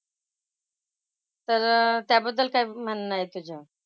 तर त्याबद्दल काय म्हणणं आहे तुझं?